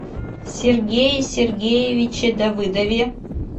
сергее сергеевиче давыдове